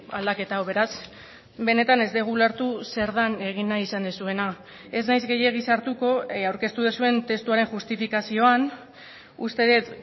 aldaketa hau beraz benetan ez dugu ulertu zer den egin nahi izan duzuena ez naiz gehiegi sartuko aurkeztu duzuen testuaren justifikazioan uste dut